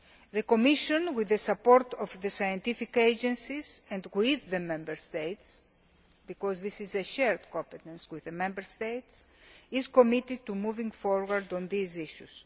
The Commission, with the support of the scientific agencies and with the Member States, because this is a shared competence with the Member States, is committed to moving forward on these issues.